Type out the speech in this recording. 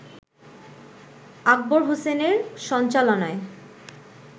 আকবর হোসেনের সঞ্চালনায়